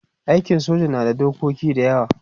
aikin soja na da dokoki da yawa